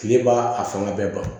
Kile b'a a fanga bɛɛ ban